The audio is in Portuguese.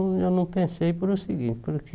Eu não pensei por o seguinte, porque...